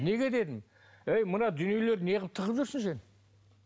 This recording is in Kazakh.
неге дедім әй мына дүниелерді неғып тығып жүрсің сен